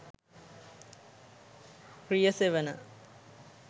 riyasevana